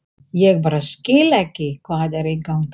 Ég bara skil ekki hvað er í gangi.